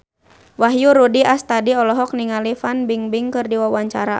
Wahyu Rudi Astadi olohok ningali Fan Bingbing keur diwawancara